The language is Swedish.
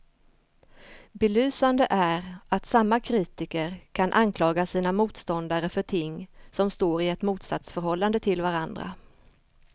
Belysande är att samma kritiker kan anklaga sina motståndare för ting som står i ett motsatsförhållande till varandra.